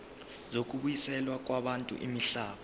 zokubuyiselwa kwabantu imihlaba